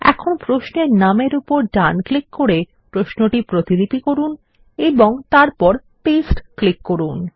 এখন প্রশ্নের নামের উপর ডান ক্লিক করে প্রশ্নটি প্রতিলিপি করুন এবং তারপর পেস্ট ক্লিক করুন